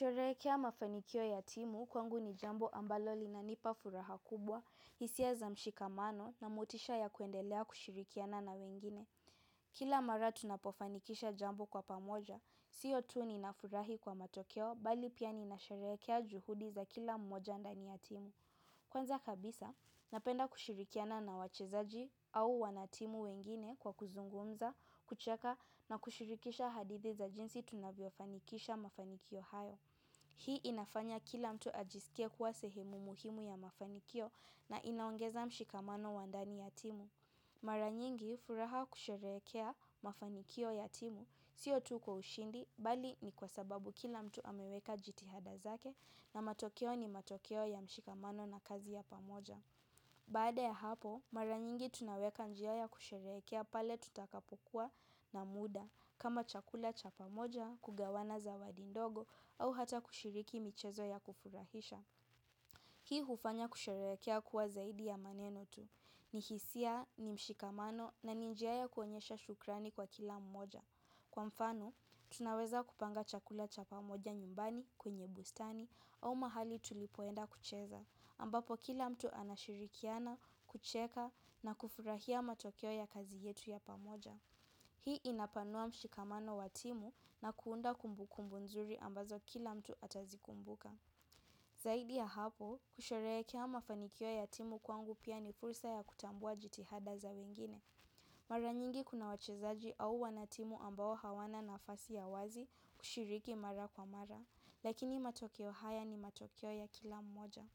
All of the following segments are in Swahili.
Kusherehekea mafanikio ya timu kwangu ni jambo ambalo linanipa furaha kubwa, hisia za mshikamano na motisha ya kuendelea kushirikiana na wengine. Kila mara tunapofanikisha jambo kwa pamoja, siyo tu ninafurahi kwa matokeo, bali pia nina sherehekea juhudi za kila mmoja ndani ya timu. Kwanza kabisa, napenda kushirikiana na wachezaji au wanatimu wengine kwa kuzungumza, kucheka na kushirikisha hadithi za jinsi tunavyofanikisha mafanikio hayo. Hii inafanya kila mtu ajisikie kuwa sehemu muhimu ya mafanikio na inaongeza mshikamano wa ndani ya timu. Mara nyingi furaha kusherehekea mafanikio ya timu, sio tu kwa ushindi, bali ni kwa sababu kila mtu ameweka jitihada zake na matokeo ni matokeo ya mshikamano na kazi ya pamoja. Baada ya hapo, mara nyingi tunaweka njia ya kusherehekea pale tutakapokuwa na muda. Kama chakula cha pamoja kugawana zawadi ndogo au hata kushiriki michezo ya kufurahisha hii hufanya kusherekea kuwa zaidi ya maneno tu. Ni hisia, ni mshikamano na ni njia ya kuonyesha shukrani kwa kila mmoja. Kwa mfano, tunaweza kupanga chakula cha pamoja nyumbani kwenye bustani au mahali tulipoenda kucheza ambapo kila mtu anashirikiana, kucheka na kufurahia matokeo ya kazi yetu ya pamoja. Hii inapanua mshikamano wa timu na kuunda kumbu kumbu nzuri ambazo kila mtu atazikumbuka. Zaidi ya hapo, kusherehekea mafanikio ya timu kwangu pia ni fursa ya kutambua jitihada za wengine. Mara nyingi kuna wachezaji au wanatimu ambao hawana nafasi ya wazi kushiriki mara kwa mara, lakini matokeo haya ni matokeo ya kila mmoja.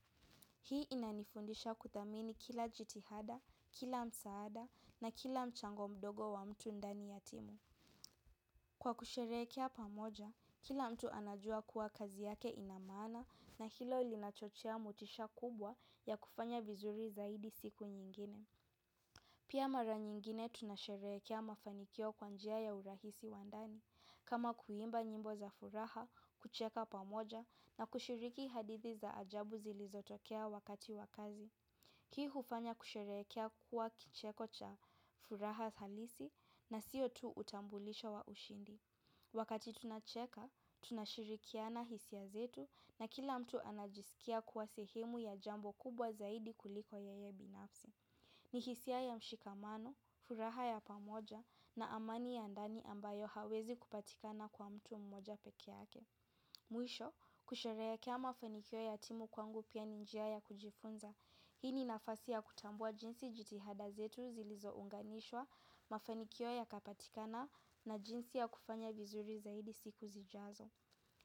Hii inanifundisha kudhamini kila jitihada, kila msaada na kila mchango mdogo wa mtu ndani ya timu. Kwa kusherehekea pamoja, kila mtu anajua kuwa kazi yake ina maana na hilo ilinachochea motisha kubwa ya kufanya vizuri zaidi siku nyingine. Pia mara nyingine tunasherehekea mafanikio kwa njia ya urahisi wa ndani. Kama kuimba nyimbo za furaha, kucheka pamoja na kushiriki hadithi za ajabu zilizotokea wakati wa kazi. Kii hufanya kusherehekea kuwa kicheko cha furaha halisi na siyo tu utambulisho wa ushindi. Wakati tunacheka, tunashirikiana hisia zetu na kila mtu anajisikia kuwa sehemu ya jambo kubwa zaidi kuliko yeye binafsi. Ni hisia ya mshikamano, furaha ya pamoja na amani ya ndani ambayo hauwezi kupatikana kwa mtu mmoja peke yake. Mwisho, kusherehekea kia mafanikio ya timu kwangu pia ni njia ya kujifunza. Hii ni nafasi ya kutambua jinsi jitihada zetu zilizo unganishwa mafanikio yakapatikana na jinsi ya kufanya vizuri zaidi siku zijazo.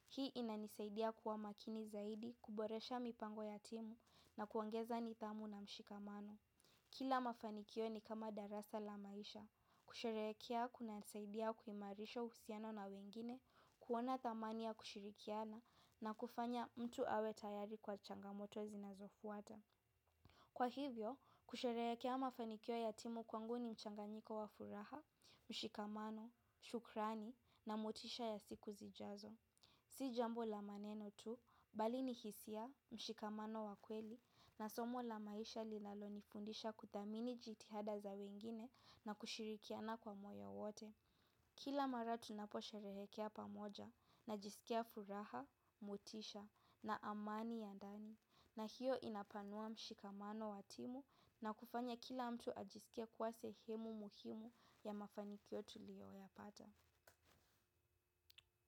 Hii inanisaidia kuwa makini zaidi kuboresha mipango ya timu na kuongeza nidhamu na mshikamano. Kila mafanikio ni kama darasa la maisha. Kusherehekea kuna saidiya kuhimarisha uhusiano na wengine, kuona tamania kushirikiana na kufanya mtu awe tayari kwa changamoto zinazofuata. Kwa hivyo, kusherehekea mafanikio ya timu kwangu ni mchanganyiko wa furaha, mshikamano, shukrani na motisha ya siku zijazo. Si jambo la maneno tu, bali ni hisia, mshikamano wa kweli, na somo la maisha linalo nifundisha kudhamini jitihada za wengine na kushirikiana kwa moyo wote. Kila mara tunapo sherehekea pamoja na jisikia furaha, motisha na amani ya ndani. Na hiyo inapanua mshikamano wa timu na kufanya kila mtu ajisikie kuwa sehemu muhimu ya mafanikio tuliyo yapata.